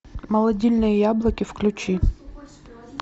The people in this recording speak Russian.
молодильные яблоки включи